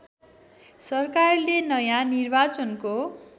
सरकारले नयाँ निर्वाचनको